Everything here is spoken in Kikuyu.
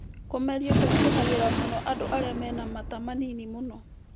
Kũmeria kũritũhagĩra mũno andũ arĩa mena mata manini mũno